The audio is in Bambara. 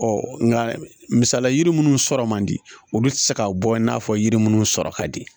Ɔ nka misaliya yiri munnu sɔrɔ man di olu tɛ se ka bɔ i n'a fɔ yiri minnu sɔrɔ ka di